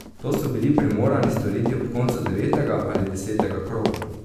To so bili primorani storiti ob koncu devetega ali desetega kroga.